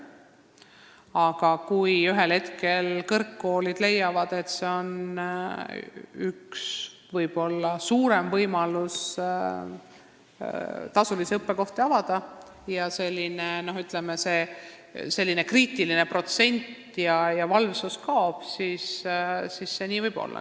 Aga kui ühel hetkel kõrgkoolid leiavad, et üks võimalus on rohkem tasulisi õppekohti avada, ning n-ö kriitiline protsent ja valvsus kaovad, siis võib sellest probleem kujuneda.